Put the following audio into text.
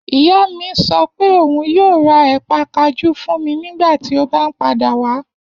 Iya mi sọ pe oun yoo ra épa kajú fun mi nigbati o ba n pada wa.